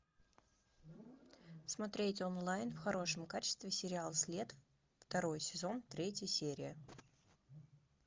смотреть онлайн в хорошем качестве сериал след второй сезон третья серия